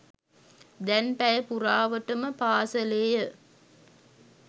දැන් පැය පුරාවටම පාසලේය